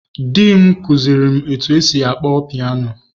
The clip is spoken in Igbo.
Di m kụziiri m otú e si akpọ piano.